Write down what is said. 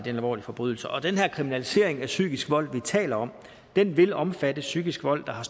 en alvorlig forbrydelse og den her kriminalisering af psykisk vold vi taler om vil omfatte psykisk vold der har